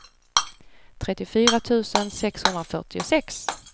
trettiofyra tusen sexhundrafyrtiosex